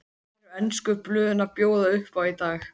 Hvað eru ensku blöðin að bjóða upp á í dag?